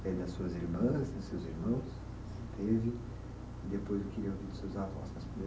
É das suas irmãs, dos seus irmãos? E depois eu queria avós